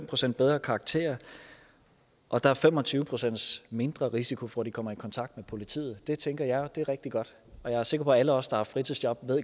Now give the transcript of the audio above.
procent bedre karakterer og der er fem og tyve procent mindre risiko for at de kommer i kontakt med politiet det tænker jeg er rigtig godt og jeg er sikker på at alle os der har haft fritidsjob